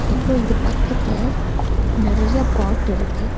அப்றோ இது பக்கத்துல நெறையா பாட் இருக்கு.